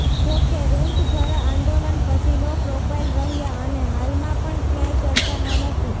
જોકે ઋતંભરા આંદોલન પછી લો પ્રોફાઈલ રહ્યાં અને હાલમાં પણ ક્યાંય ચર્ચામાં નથી